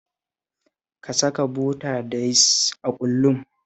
Ka saka bota da yis a ƙullun